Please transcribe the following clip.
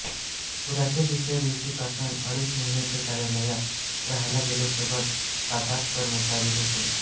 पुराच्या दुसऱ्या दिवशीपासून अडीच महिने ते कार्यालयातच रहायला गेले सोबत साताठ कर्मचारीही होते